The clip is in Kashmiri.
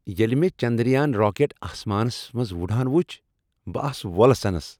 ییلہ مےٚ چندریان راکٹ آسمانس منٛز وۄڑان وُچھ بہٕ آس وۄلسنس۔